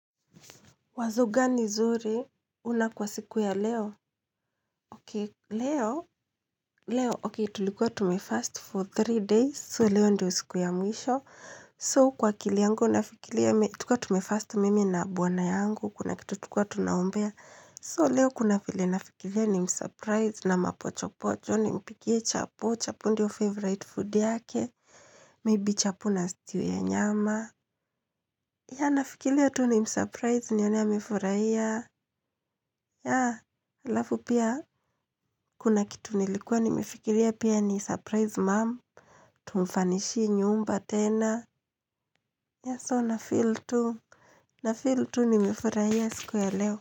Wazo gani zuri? Unalo kwa siku ya leo? Okay. Leo tulikuwa tumefast for three days. So leo ndio siku ya mwisho. So kwa akili yangu nafikilia tulikuwa tumefast mimi na bwana yangu kuna kitu tulikuwa tunaombea. So leo kuna vile nafikilia ni msurprise na mapocho pocho nimpikie chapoo chapoo ndio favorite food yake. Maybe chapoo na stew ya nyama. Yah nafikilia tu nimsurprise nione amefurahia. Yah, alafu pia kuna kitu nilikuwa nimefikiria pia ni msurprise mom. Tumfanishie nyumba tena. Yah so na feel tu. Na feel tu nimefurahia siku ya leo.